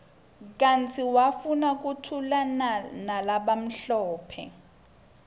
kanti wafuna kuthulanalabamhlophe